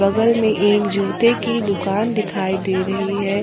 बगल में एक जूते की दुकान दिखाई दे रही है।